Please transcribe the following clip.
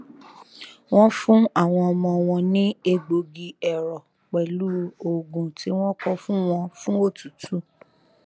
wọn fún àwọn ọmọ wọn ní egbògi ẹrọ pẹlú òògùn tí wọn kọ fún wọn fún otútù